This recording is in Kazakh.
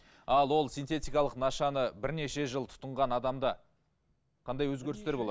ал ол синтетикалық нашаны бірнеше жыл тұтынған адамда қандай өзгерістер болады